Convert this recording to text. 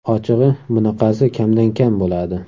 Ochig‘i bunaqasi kamdan kam bo‘ladi.